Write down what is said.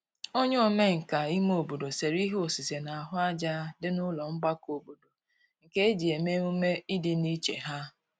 onye omenka ime obodo sere ihe osise n'ahu aja di n'ulo mgbako obodo nke eji eme -emume idi n'iche ha